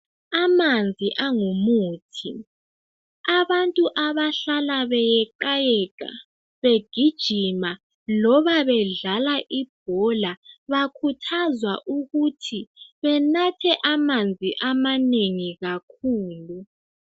Amanzi angumuthi abantu abahlala beyeqayeqa begijima loba bedlala ibhola bakhuthwa ukuthi benathe amanzi amanengi kakhulu.